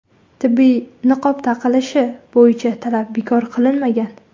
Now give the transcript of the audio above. Tibbiy niqob taqilishi bo‘yicha talab bekor qilinmagan.